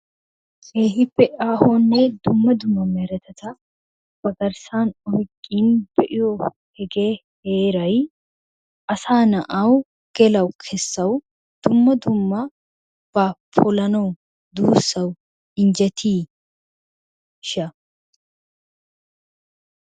Keehippe aahonne dumma dumma meretata ba garssan oyiqqidi be'iyo hegee Heeray asaa na'wu gelawu kessawu dumma dummabaa polanawu duussawu injjetiishsha?